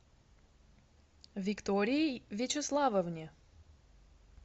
виктории вячеславовне